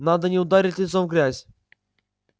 надо не ударить лицом в грязь